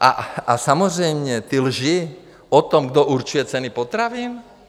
A samozřejmě ty lži o tom, kdo určuje ceny potravin.